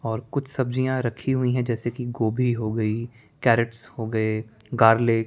और कुछ सब्जियां रखी हुई हैं जैसे कि गोभी हो गई कैरट्स हो गए गार्लिक --